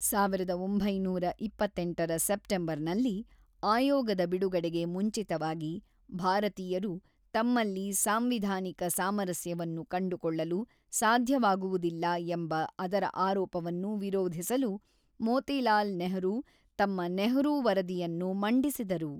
ಸಾವಿರದ ಒಂಬೈನೂರ ಇಪ್ಪತ್ತೆಂಟರ ಸೆಪ್ಟೆಂಬರ್ನಲ್ಲಿ, ಆಯೋಗದ ಬಿಡುಗಡೆಗೆ ಮುಂಚಿತವಾಗಿ, ಭಾರತೀಯರು ತಮ್ಮಲ್ಲಿ ಸಾಂವಿಧಾನಿಕ ಸಾಮರಸ್ಯವನ್ನು ಕಂಡುಕೊಳ್ಳಲು ಸಾಧ್ಯವಾಗುವುದಿಲ್ಲ ಎಂಬ ಅದರ ಆರೋಪವನ್ನು ವಿರೋಧಿಸಲು, ಮೋತಿಲಾಲ್ ನೆಹರು ತಮ್ಮ ನೆಹರೂ ವರದಿಯನ್ನು ಮಂಡಿಸಿದರು.